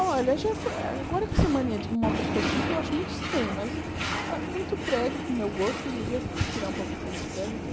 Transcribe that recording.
Olha, já fo eh agora que essa mania de moca ficou chique, eu acho muito estranho, mas está com muito prédio, para o meu gosto, eu devia tirar um pouco daqueles prédios.